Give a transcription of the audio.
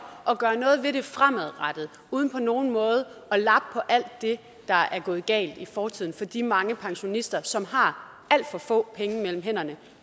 at gøre noget ved det fremadrettet uden på nogen måde at lappe på alt det der er gået galt i fortiden for de mange pensionister som har alt for få penge mellem hænderne